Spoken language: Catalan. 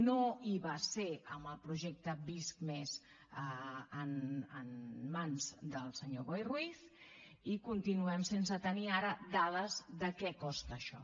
no hi va ser amb el projecte visc+ en mans del senyor boi ruiz i continuem sense tenir ara dades de què costa això